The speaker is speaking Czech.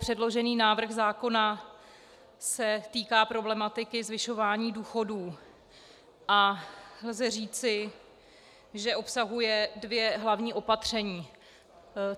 Předložený návrh zákona se týká problematiky zvyšování důchodů a lze říci, že obsahuje dvě hlavní opatření.